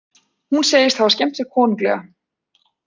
Hún segist hafa skemmt sér konunglega